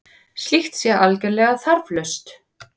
Slíkt sé algerlega þarflaust